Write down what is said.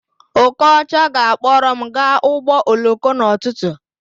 Okocha ga-akpọrọ m gaa ụgbọ oloko n'ụtụtụ